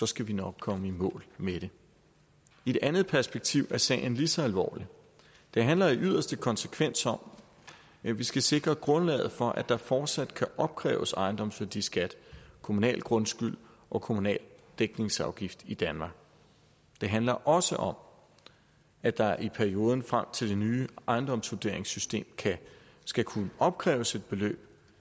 skal vi nok komme i mål med det i et andet perspektiv er sagen lige så alvorlig det handler i yderste konsekvens om at vi skal sikre grundlaget for at der fortsat kan opkræves ejendomsværdiskat kommunal grundskyld og kommunal dækningsafgift i danmark det handler også om at der i perioden frem til det nye ejendomsvurderingssystem skal kunne opkræves et beløb